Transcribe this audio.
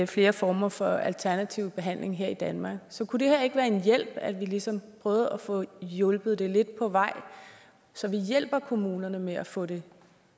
flere former for alternativ behandling her i danmark så kunne det her ikke være en hjælp at vi ligesom prøvede at få det hjulpet lidt på vej så vi hjælper kommunerne med at få det